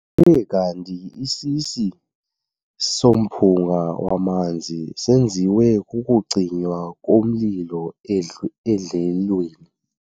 Kuthe kanti isisi somphunga wamanzi senziwe kukucinywa komlilo edlelweni.